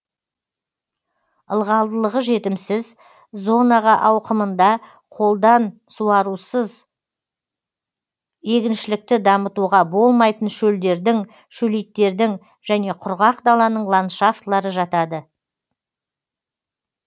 ылғалдылығы жетімсіз зонаға ауқымында қолдан суарусыз егіншілікті дамытуға болмайтын шөлдердің шөлейттердің және құрғақ даланың ландшафтылары жатады